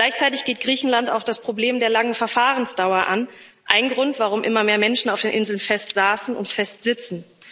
Gleichzeitig geht Griechenland auch das Problem der langen Verfahrensdauer an ein Grund, warum immer mehr Menschen auf den Inseln festsaßen und festsitzen.